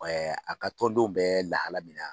a ka tɔn denw bɛ lahalaya min na.